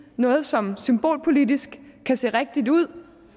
noget som symbolpolitisk kan se rigtigt ud